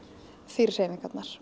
fyrir hreyfingarnar